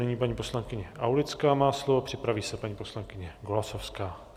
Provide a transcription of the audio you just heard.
Nyní paní poslankyně Aulická má slovo, připraví se paní poslankyně Golasowská.